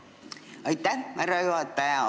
Aitäh, härra juhataja!